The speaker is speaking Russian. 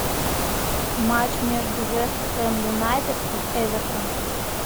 матч между вест хэм юнайтед и эвертон